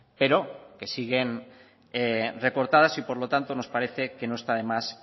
pero que siguen recortadas y por lo tanto nos parece que no está de más